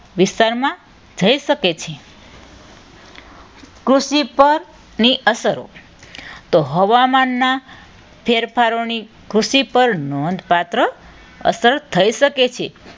વિસ્તારમાં થઈ શકે છે. કૃષિ પણ ની અસરો પરની અસરો તો હવામાનના ફેરફારોને કૃષિ પર નોંધપાત્ર અસર થઈ શકે છે.